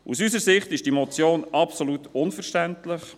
– Aus unserer Sicht ist diese Motion absolut unverständlich.